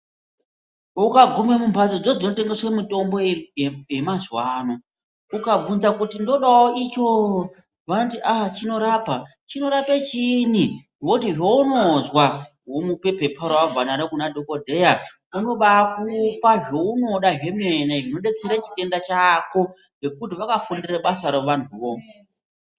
Ukaguma munbatso dzodzinotengesa mitombo yemazuwano ukabvunza ndodawo icho vanoti chinorapa. Chinorape chiini? Voti zveunozwa womupe Pepa rawabva naro kunadhodheya unobakupa zveunoda zvemene zvinodetsera chitenda chako ngekuti vakafundira basa ravo vantuvo.